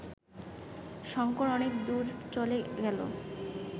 শঙ্কর অনেক দূর চলে গেল